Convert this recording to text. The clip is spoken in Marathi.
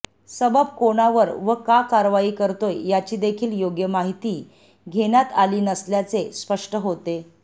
सबब कोणावर व का कारवाई करतोय याचीदेखील योग्य माहिती घेण्यात आली नसल्याचे स्पष्ट होते